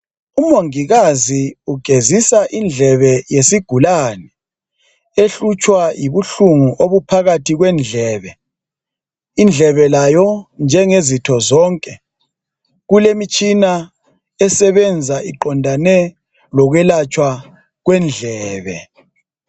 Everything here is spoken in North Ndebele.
Umongikazi ugezisa indlebe yesigulani ehlutshwa yibuhlungu obuphakathi kwendlebe. Indlebe layo njengezitho zonke kulemitshina esebenza iqondane lokwelatshwa kwendlebe.